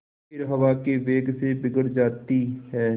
फिर हवा के वेग से बिगड़ जाती हैं